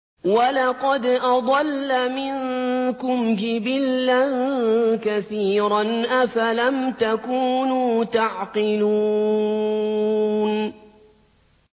وَلَقَدْ أَضَلَّ مِنكُمْ جِبِلًّا كَثِيرًا ۖ أَفَلَمْ تَكُونُوا تَعْقِلُونَ